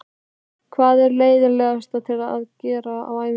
Hvað er leiðinlegast að gera á æfingum?